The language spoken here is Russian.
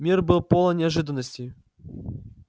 мир был полон неожиданностей